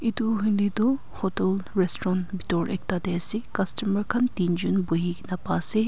Etu hoile tuh hotel restaurant bethor ekta dae ase customer khan tinjun buhikena pa ase.